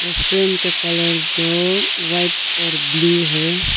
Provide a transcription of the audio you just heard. Restaurant का colour जो white और ब्ल्यू है।